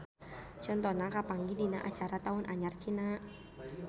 Contona kapanggih dina acara taun anyar Cina.